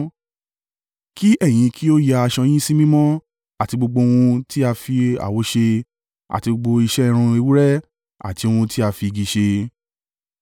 Kí ẹ̀yin kí ó ya aṣọ yín sí mímọ́ àti gbogbo ohun tí a fi awọ ṣe àti gbogbo iṣẹ́ irun ewúrẹ́ àti ohun tí a fi igi ṣe.”